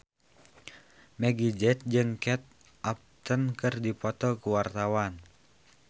Meggie Z jeung Kate Upton keur dipoto ku wartawan